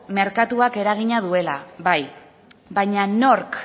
merkatuak eragina duela bai baina nork